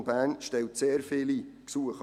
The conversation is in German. Der Kanton Bern stellt sehr viele Gesuche.